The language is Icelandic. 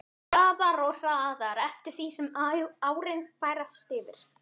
Hraðar og hraðar eftir því sem árin færast yfir.